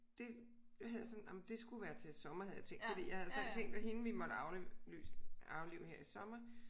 Det det havde jeg sådan ah men det skulle være til sommer havde jeg tænkt fordi jeg havde sådan tænkt at hende vi måtte aflyse aflive her i sommer